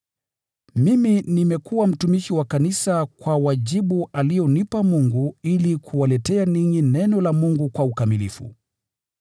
Mimi nimekuwa mtumishi wa kanisa kwa wajibu alionipa Mungu ili kuwaletea ninyi Neno la Mungu kwa ukamilifu: